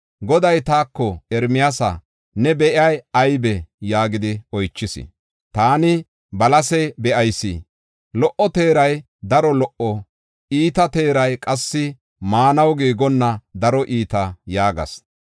Goday taako, “Ermiyaasa, ne be7ey aybee?” yaagidi oychis. Taani, “Balase be7ayis; lo77o teeray daro lo77o; iita teeray qassi maanaw giigonna daro iita” yaagas.